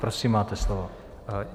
Prosím, máte slovo.